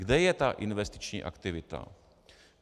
Kde je ta investiční aktivita?